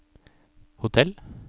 hotell